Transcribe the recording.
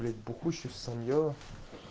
блять бухущий в санье